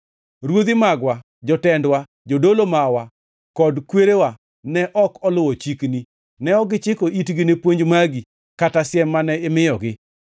Ruodhi magwa, jotendwa, jodolo mawa kod kwerewa ne ok oluwo chikni; ne ok gichiko itgi ne puonj magi kata siem mane imiyogi.